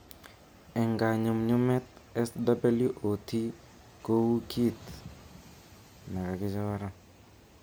Eng kanyumnyumet , SWOT ko u kit nekakichoran